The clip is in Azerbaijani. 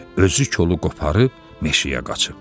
Özü kolu qoparıb meşəyə qaçıb.